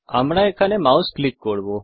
আমরা এখানে mouse click করব